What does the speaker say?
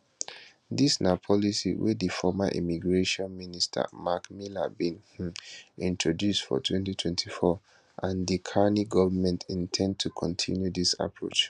dis na policy wey di former immigration minister marc miller bin um introduce for 2024 and di carney govment in ten d to kontinue dis approach